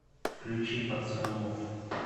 включи пацанов